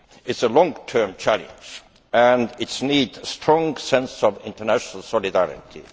It is a long term challenge and it needs a strong sense of international solidarity.